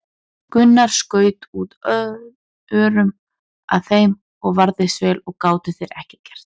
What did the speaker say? Gunnar skaut út örum að þeim og varðist vel og gátu þeir ekki að gert.